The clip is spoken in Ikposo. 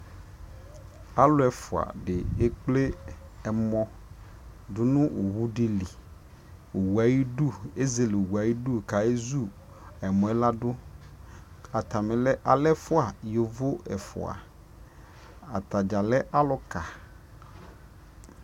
alʋ ɛƒʋa di ɛkplɛ ɛmɔ dʋnʋ ɔwʋ dili, ɔwʋɛ ayidʋ ɛzɛlɛ, ɛzɛlɛ ɔwʋɛ ayidʋ kʋ ayɛ zʋ ɛmɔɛ dʋ, atani lɛ ɛƒʋa, yɔvɔ ɛƒʋa, atagya lɛ alʋka